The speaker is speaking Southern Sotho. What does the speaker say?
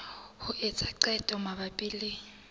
ho etsa qeto mabapi le